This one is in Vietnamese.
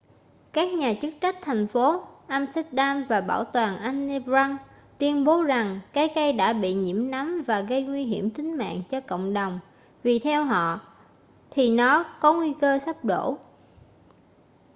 các nhà chức trách thành phố amsterdam và bảo tàng anne frank tuyên bố rằng cái cây đã bị nhiễm nấm và gây nguy hiểm tính mạng cho cộng đồng vì theo họ thì nó có nguy cơ sắp đổ